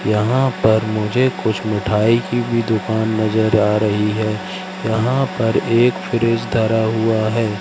यहां पर मुझे कुछ मिठाई की भी दुकान नजर आ रही है यहां पर एक फ्रिज धरा हुआ है।